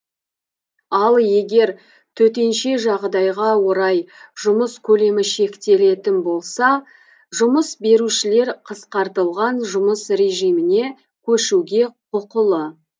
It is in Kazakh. ал егер төтенше жағдайға орай жұмыс көлемі шектелетін болса жұмыс берушілер қысқартылған жұмыс режиміне көшуге құқылы